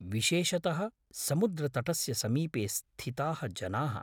विशेषतः समुद्रतटस्य समीपे स्थिताः जनाः।